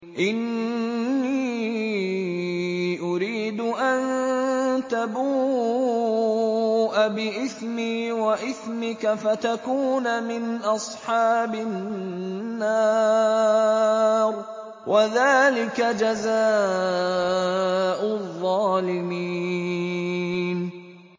إِنِّي أُرِيدُ أَن تَبُوءَ بِإِثْمِي وَإِثْمِكَ فَتَكُونَ مِنْ أَصْحَابِ النَّارِ ۚ وَذَٰلِكَ جَزَاءُ الظَّالِمِينَ